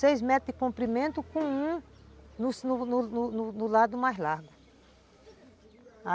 Seis metros de comprimento com um no no no lado mais largo.